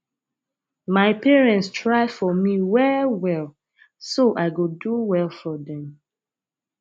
my parents try for me well well so i go do well for dem